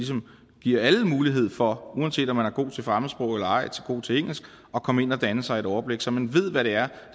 giver alle mulighed for uanset om man er god til fremmedsprog eller ej at komme ind og danne sig et overblik så man ved hvad det er